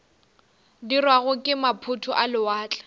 dirwago ke maphoto a lewatle